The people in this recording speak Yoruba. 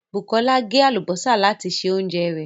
Bukola gé àlùbọ́sà láti se oúnjẹ rẹ̀